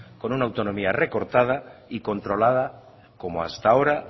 con una autonomía recortada y controlada como hasta ahora